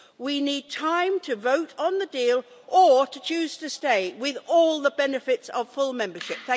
We need time to vote on the deal or to choose to stay with all the benefits of full membership.